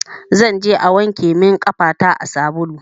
Zanje a wanke min ƙafata a salun